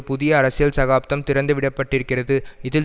புதிய அரசியல் சகாப்தம் திறந்துவிடப்பட்டிருக்கிறது இதில்